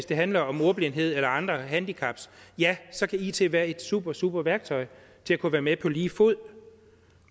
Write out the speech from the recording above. det handler om ordblindhed eller andre handicap ja så kan it være et super super værktøj til at kunne være med på lige fod